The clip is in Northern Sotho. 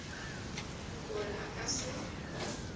gore ge a ka se